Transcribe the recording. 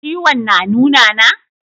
Ciwon na nuna na?